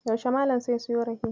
Yaushe Malam sai siyo rake?